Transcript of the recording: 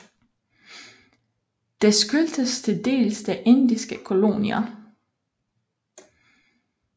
Det skyldtes til dels de indiske kolonier